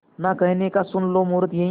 ना कहने का सुन लो मुहूर्त यही